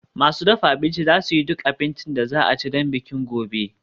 Masu dafa abinci za su yi duk abincin da za a ci don bikin gobe